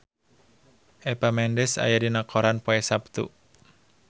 Eva Mendes aya dina koran poe Saptu